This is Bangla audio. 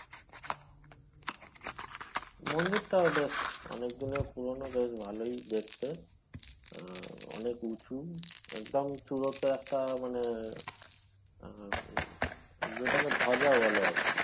মন্দিরটা বেশ অনেকদিনের পুরনো বেশ ভালোই দেখতে আহ অনেক উচুঁ একদম চুড়তে একটা মানে আহ উম যেটাকে বলে আরকি